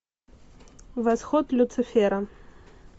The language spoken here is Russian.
восход люцифера